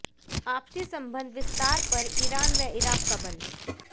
आपसी संबंध विस्तार पर ईरान व इराक़ का बल